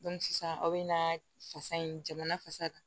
sisan aw bɛ na fasa in jamana fasa kan